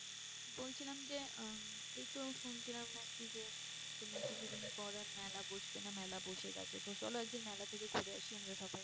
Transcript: বলছিলাম যে আহ এই তো শুনছিলাম নাকি যে তোমার কিছুদিন পরে মেলা বসবে না মেলা বসে গেছে তো চলো একদিন মেলা থেকে ঘুরে আসি আমরা সবাই